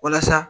Walasa